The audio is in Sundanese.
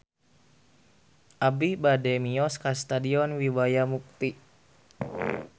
Abi bade mios ka Stadion Wibawa Mukti